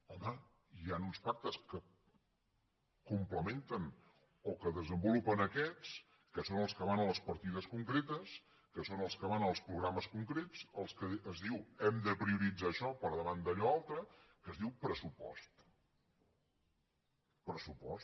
home hi han uns pactes que complementen o que desenvolupen aquests que són els que van a les partides concretes que són els que van als programes concrets el que és diu hem de prioritzar això per davant d’allò altre que es diu pressupost pressupost